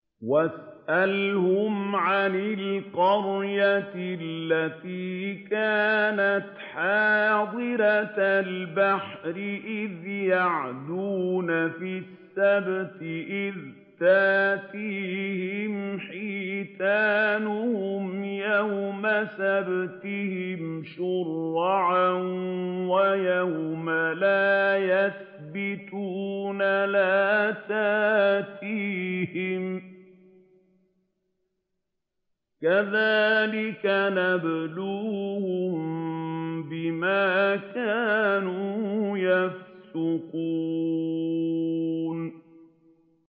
وَاسْأَلْهُمْ عَنِ الْقَرْيَةِ الَّتِي كَانَتْ حَاضِرَةَ الْبَحْرِ إِذْ يَعْدُونَ فِي السَّبْتِ إِذْ تَأْتِيهِمْ حِيتَانُهُمْ يَوْمَ سَبْتِهِمْ شُرَّعًا وَيَوْمَ لَا يَسْبِتُونَ ۙ لَا تَأْتِيهِمْ ۚ كَذَٰلِكَ نَبْلُوهُم بِمَا كَانُوا يَفْسُقُونَ